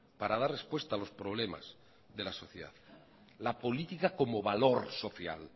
para dar respuesta a los problemas de la sociedad la política como valor social